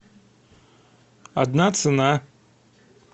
одна цена